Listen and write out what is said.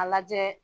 A lajɛ